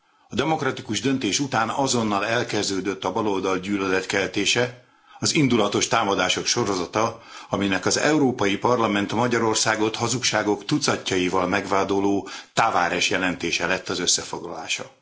A demokratikus döntés után azonnal elkezdődött a baloldal gyűlöletkeltése, az indulatos támadások sorozata, aminek az Európai Parlament Magyarországot hazugságok tucatjaival megvádoló Tavares jelentése lett az összefoglalása.